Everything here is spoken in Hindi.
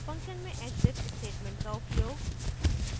function में exit statement का उपयोग